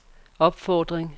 opfordring